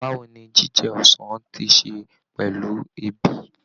Báwo ni jíjẹ ọsàn ti ṣe pẹ̀lú ebi?